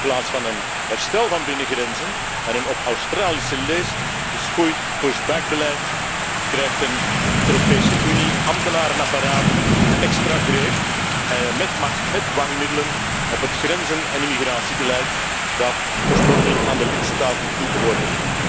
In plaats van een herstel van binnengrenzen en een op Australische leest geschoeid pushback beleid krijgt een EU ambtenarenapparaat extra greep, met macht, met dwangmiddelen in het grenzen en immigratiebeleid dat oorspronkelijk aan de lidstaten toebehoorde.